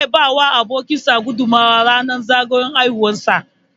Zai ba wa abokin sa guduma ran zagayowar haihuwar sa